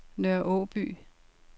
Nørre Aaby